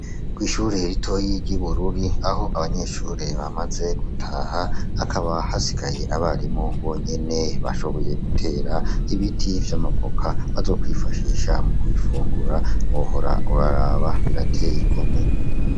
Kw' ishure ritoyi ry'iBururi aho abanyeshure bamaze gutaha hakaba hasikaye abarimu bonyene bashoboye gutera ibiti vy'amavoka bazokwifashisha mu kubifungura wohora uraraba biratey'igomwe.